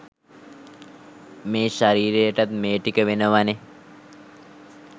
මේ ශරීරයටත් මේ ටික වෙනවනෙ